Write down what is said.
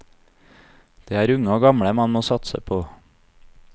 Det er unge og gamle man må satse på.